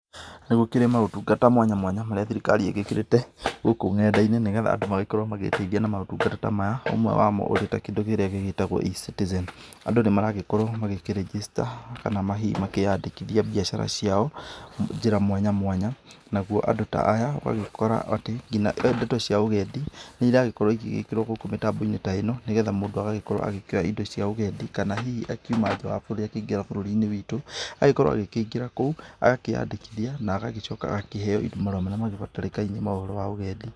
Nĩ gũkĩrĩ maũtungata mwanya mwanya marĩa thirikari ĩgĩkĩrĩte gũkũ ng'enda-inĩ nĩgetha andũ magĩkorwo magĩĩteithia na maũtungata ta maya, ũmwe wamo ũrĩ ta kĩndũ kĩrĩa gĩgĩtagwo E-Citizen, andũ nĩ maragĩkorwo magĩkĩĩrĩjĩsta kana makĩyandĩkithia biacara ciao, njĩra mwanya mwanya naguo andũ ta aya ũgagĩkora atĩ nginya ndeto cia ũgendi nĩ iragĩkorwo ĩgĩgĩkĩrwo gũkũ mĩtambo-inĩ ta ĩno, nĩgetha mũndũ agagĩkorwo agĩkĩoya indo cia ũgendi kana hihi akiuma nja wa bũrũri akĩingĩra bũrũri-inĩ witũ, agĩkorwo agĩkĩingĩra kou agakĩyandĩkithia na agagĩcoka agakĩheo marũa marĩa magĩbatarĩkainie ma ũhoro wa ũgendi.